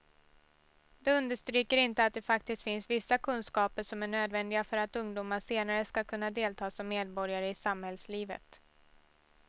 De understryker inte att det faktiskt finns vissa kunskaper som är nödvändiga för att ungdomar senare ska kunna delta som medborgare i samhällslivet.